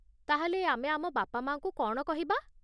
ତା'ହେଲେ ଆମେ ଆମ ବାପାମାଆଙ୍କୁ କ'ଣ କହିବା?